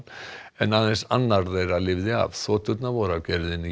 en aðeins annar þeirra lifði af þoturnar voru af gerðinni